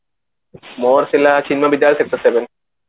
ମୋର ଥିଲା ବିଦ୍ୟାଳୟ sector seven